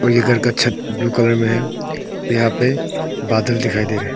और ये घर का छत ब्लू कलर में है यहां पे बादल दिखाई दे रहे हैं।